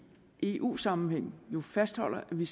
eu sammenhæng jo fastholder at vi